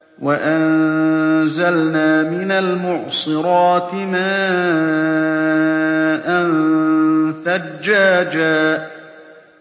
وَأَنزَلْنَا مِنَ الْمُعْصِرَاتِ مَاءً ثَجَّاجًا